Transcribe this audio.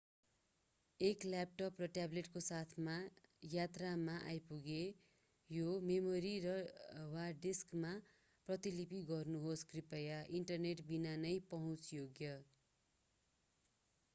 एक ल्याटप वा ट्याब्लेटको साथ यात्रामा आइपुग्छ यो मेमोरी वा डिस्कमा प्रतिलिपि गर्नुहोस् कृपया इन्टरनेट बिना नै पहुँच योग्य।